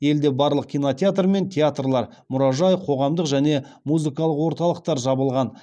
елде барлық кинотеатр мен театрлар мұражай қоғамдық және музыкалық орталықтар жабылған